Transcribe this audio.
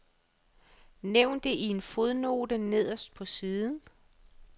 Nævn det i en fodnote nederst på siden.